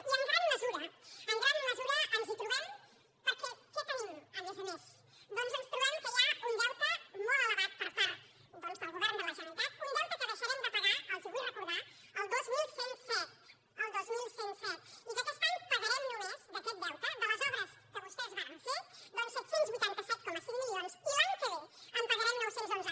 i en gran mesura en gran mesura ens hi trobem perquè què tenim a més a més doncs ens trobem que hi ha un deute molt elevat per part del govern de la generalitat un deute que deixarem de pagar els ho vull recordar el dos mil cent i set el dos mil cent i set i que aquest any pagarem només d’aquest deute de les obres que vostès varen fer set cents i vuitanta set coma cinc milions i l’any que ve en pagarem nou cents i onze